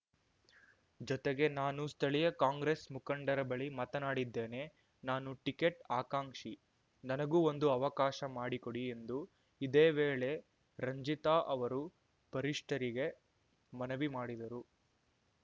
ಜೊತೆಗೆ ನಾನು ಸ್ಥಳೀಯ ಕಾಂಗ್ರೆಸ್‌ ಮುಖಂಡರ ಬಳಿ ಮಾತನಾಡಿದ್ದೇನೆ ನಾನೂ ಟಿಕೆಟ್‌ ಆಕಾಂಕ್ಷಿ ನನಗೂ ಒಂದು ಅವಕಾಶ ಮಾಡಿ ಕೊಡಿ ಎಂದು ಇದೇ ವೇಳೆ ರಂಜಿತಾ ಅವರು ವರಿಷ್ಠರಿಗೆ ಮನವಿ ಮಾಡಿದರು